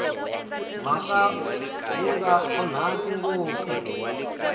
mhaka wu nga onhaki ngopfu